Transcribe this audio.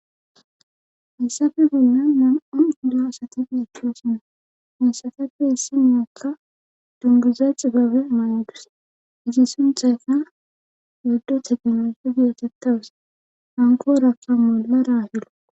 Issafe bollan man'on da asati geechkhoosinna hensatappe hissi meaakka dunguza cigabe maanadus izi sunthayka yaddo tegenesu gietettawus hanko rakka molla raahilo